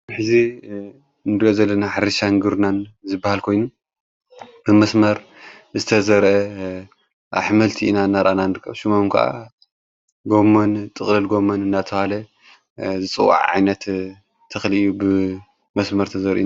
ብሕዚ እንድ ዘለን ሓሪሻን ግሩናን ዝበሃል ኮይኑ ብመስመር ዝተዘርአ ኣኅመልቲ ኢና እናርአናንድቀብ ሹሙም ከዓ ገሞን ጥቕለል ጎመን እናተሃለ ዝፅዋዕ ዓዒይነት ተኽልዩ ብመስመር ተዘር።